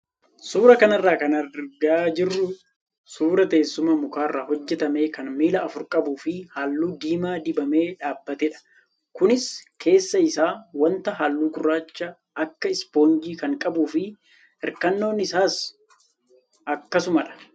Suuraa kanarraa kan argaa jirru suuraa teessuma mukarraa hojjatame kan miila afur qabuu fi halluu diimaa dibamee dhaabbatedha. Kunis keessa isaa wanta halluu gurraacha akka ispoonjii kan qabuu fi hirkannoon isaasa akkasumadha.